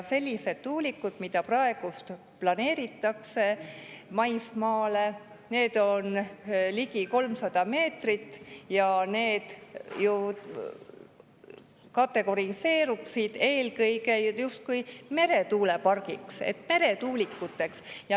Need tuulikud, mida praegu planeeritakse maismaale, on ligi 300 meetrit ja need justkui saaks kategoriseerida eelkõige meretuulikuteks.